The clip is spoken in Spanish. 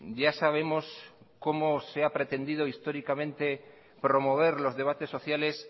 ya sabemos cómo se ha pretendido históricamente promover los debates sociales